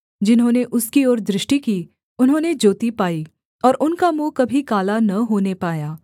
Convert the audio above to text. जिन्होंने उसकी ओर दृष्टि की उन्होंने ज्योति पाई और उनका मुँह कभी काला न होने पाया